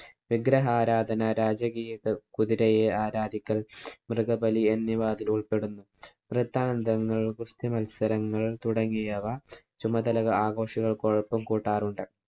വിഗ്രഹാരാധന, രാജകീയ കുതിരയെ ആരാധിക്കല്‍, മൃഗബലി എന്നിവ അതില്‍ ഉള്‍പ്പെടുന്നു. വൃത്താന്തങ്ങള്‍, ഗുസ്തിമത്സരങ്ങള്‍ തുടങ്ങിയവ ചുമതല ആഘോഷങ്ങള്‍ക്ക് കൊഴുപ്പ് കൂട്ടാറുണ്ട്.